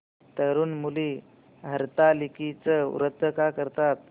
तरुण मुली हरतालिकेचं व्रत का करतात